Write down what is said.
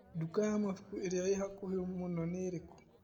Nduka ya mabuku ĩria ĩ hakuhĩ mũno nĩ ĩrĩkũ?